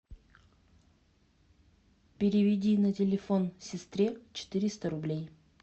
переведи на телефон сестре четыреста рублей